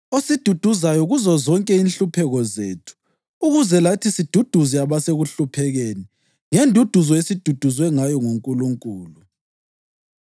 osiduduzayo kuzozonke inhlupheko zethu ukuze lathi siduduze abasekuhluphekeni ngenduduzo esiduduzwe ngayo nguNkulunkulu.